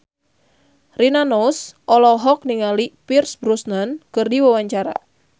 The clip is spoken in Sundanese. Rina Nose olohok ningali Pierce Brosnan keur diwawancara